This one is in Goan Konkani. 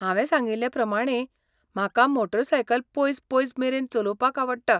हांवें सांगिल्ले प्रमाणें म्हाका मोटारसायकल पयस पयस मेरेन चलोवपाक आवडटा.